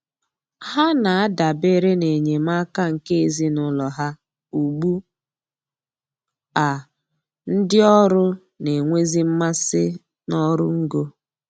Ha na-adabere n'enyemaka nke ezinụlọ ha ugbu a ndị ọrụ na-enwezi mmasị n'ọrụ ngo